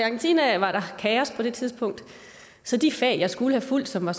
argentina var der kaos på det tidspunkt så de fag jeg skulle have fulgt som var